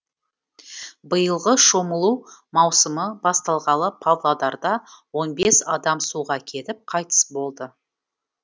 биылғы шомылу маусымы басталғалы павлодарда он бес адам суға кетіп қайтыс болды